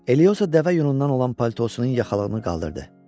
Eliozo dəvə yunundan olan paltosunun yaxalığını qaldırdı.